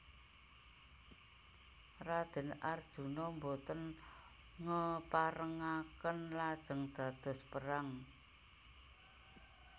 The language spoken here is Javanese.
Raden Arjuna boten ngeparengaken lajeng dados perang